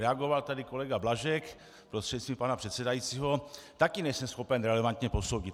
Reagoval tady kolega Blažek prostřednictvím pana předsedajícího - taky nejsem schopen relevantně posoudit.